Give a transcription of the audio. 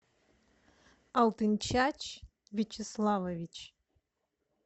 алтынчач вячеславович